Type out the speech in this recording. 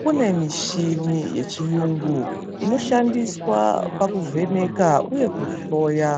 Kune mishini yechiyungu inoshandiswa pakuvheneka uye kuhloya